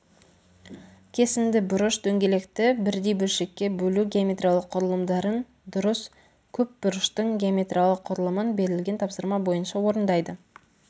кесінді бұрыш дөңгелекті бірдей бөлшекке бөлу геометриялық құрылымдарын дұрыс көпбұрыштың геометриялық құрылымын берілген тапсырма бойынша орындайды